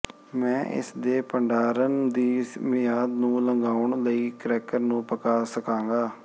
ਮੈਂ ਇਸ ਦੇ ਭੰਡਾਰਨ ਦੀ ਮਿਆਦ ਨੂੰ ਲੰਘਾਉਣ ਲਈ ਕ੍ਰੈਕਰ ਨੂੰ ਪਕਾ ਸਕਾਂਗਾ